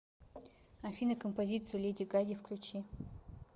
афина композицию леди гаги включи